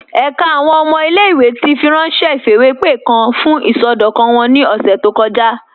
Ẹ̀ká àwọn ọmọ ilẹ̀-ìwé ti fírànṣẹ̀ ifiwepe kan fún isọdọkan wọn ni ọ̀ṣẹ̀ tó kọja.